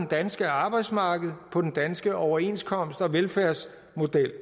danske arbejdsmarked på den danske overenskomst og velfærdsmodel